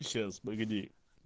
сейчас погоди